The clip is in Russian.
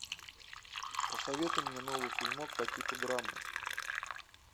посоветуй мне новый фильмок по типу драмы